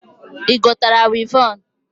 Igotara wịvọn?